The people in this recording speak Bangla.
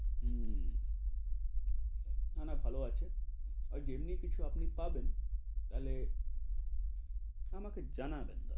হম না-না ভালো আছে, ওই যেমনি কিছু আপনি পাবেন, তাহলে আমাকে জানাবেন দাদা,